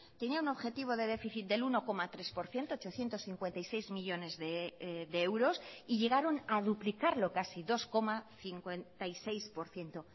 tenía un objetivo de déficit del uno coma tres por ciento ochocientos cincuenta y seis millónes de euros y llegaron a duplicarlo casi dos coma cincuenta y seis por ciento